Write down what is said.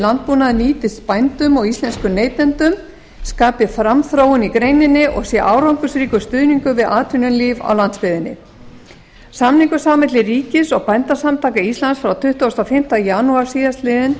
landbúnaðinn nýtist bændum og íslenskum neytendum skapi framþróun í greininni og sé árangursríkur stuðningur við atvinnulíf á landsbyggðinni samningur sá milli ríkis og bændasamtaka íslands frá tuttugasta og fimmta janúar